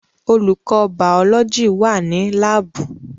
Olùkọ́ bàọ́lọ́jì wà ní láàbù